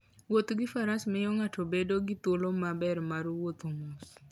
Wuoth gi faras miyo ng'ato bedo gi thuolo maber mar wuotho mos.